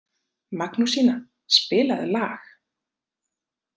Magnúsína, spilaðu lag.